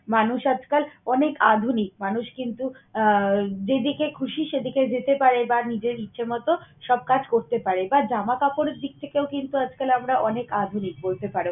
মানুষ আজকাল অনেক আধুনিক। মানুষ কিন্তু আহ যেদিকে খুশি সেদিকে যেতে পারে বা নিজের ইচ্ছামত সব কাজ করতে পারে বা জামা কাপড়ের দিক থেকেও কিন্তু আজকাল আমরা অনেক আধুনিক বলতে পারো।